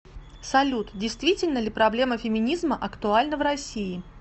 салют действительно ли проблема феминизма актуальна в россии